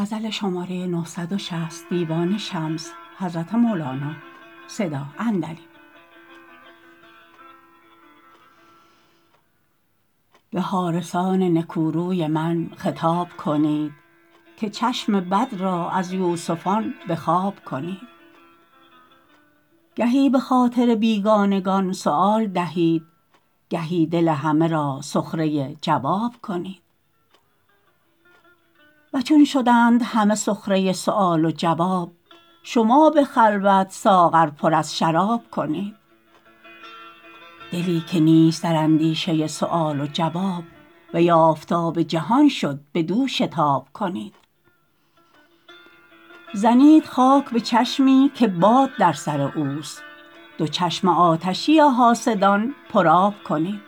به حارسان نکوروی من خطاب کنید که چشم بد را از یوسفان به خواب کنید گهی به خاطر بیگانگان سؤال دهید گهی دل همه را سخره جواب کنید و چون شدند همه سخره سؤال و جواب شما به خلوت ساغر پر از شراب کنید دلی که نیست در اندیشه سؤال و جواب وی آفتاب جهان شد بدو شتاب کنید زنید خاک به چشمی که باد در سر اوست دو چشم آتشی حاسدان پرآب کنید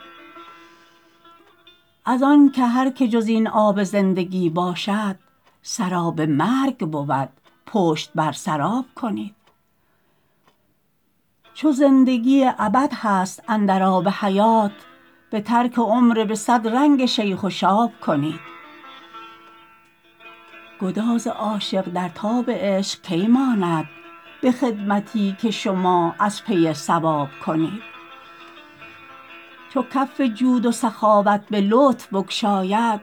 از آن که هر که جز این آب زندگی باشد سراب مرگ بود پشت بر سراب کنید چو زندگی ابد هست اندر آب حیات به ترک عمر به صد رنگ شیخ و شاب کنید گداز عاشق در تاب عشق کی ماند به خدمتی که شما از پی ثواب کنید چو کف جود و سخاوت به لطف بگشاید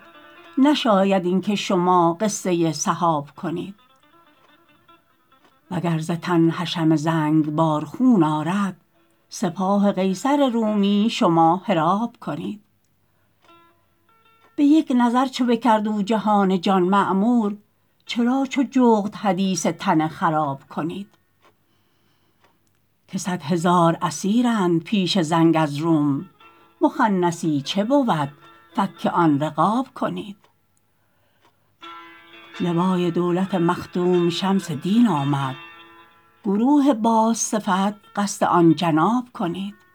نشاید این که شما قصه سحاب کنید وگر ز تن حشم زنگبار خون آرد سپاه قیصر رومی شما حراب کنید به یک نظر چو بکرد او جهان جان معمور چرا چو جغد حدیث تن خراب کنید که صد هزار اسیرند پیش زنگ از روم مخنثی چه بود فک آن رقاب کنید لوای دولت مخدوم شمس دین آمد گروه بازصفت قصد آن جناب کنید